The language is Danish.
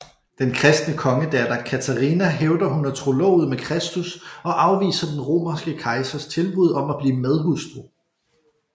Den kristne kongedatter Katarina hævder hun er trolovet med Kristus og afviser den romerske kejsers tilbud om at blive medhustru